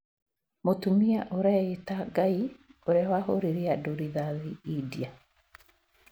Mũtumia ũreita 'Ngai' ũria wahũrire andũ rĩthati India